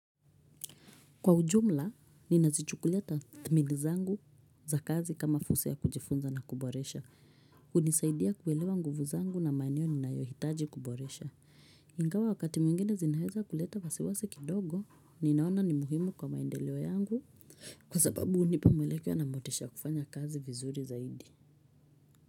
Kwa ujumla, ninazichukulia dhamiri zangu za kazi kama fursa ya kujifunza na kuboresha. Kunisaidia kuelewa nguvu zangu na maeneo ninayohitaji kuboresha. Ingawa wakati mwingine zinaweza kuleta wasiwasi kidogo, ninaona ni muhimu kwa maendeleo yangu. Kwa sababu hunipa mwelekeo na motisha ya kufanya kazi vizuri zaidi.